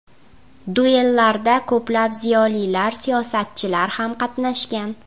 Duellarda ko‘plab ziyolilar, siyosatchilar ham qatnashgan.